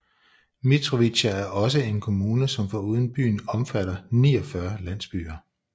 Mitrovica er også en kommune som foruden byen omfatter 49 landsbyer